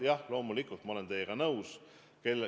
Jah, loomulikult ma olen teiega nõus.